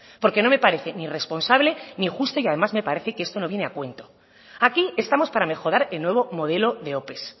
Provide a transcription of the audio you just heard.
porque no me parece ni responsable ni justo y además me parece que esto no viene a cuento aquí estamos para mejorar el nuevo modelo de ope